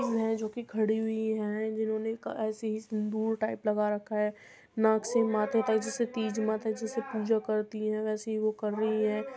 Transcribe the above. है जो कि खड़ी हुई है जिन्होंने ऐसे ही सिंदूर टाइप लगा रखा है। नाक से माथे तक जैसे तीज माता जी से पूजा करती है वैसे ही वो कर रही हैं।